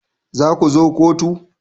Za ku zo kotu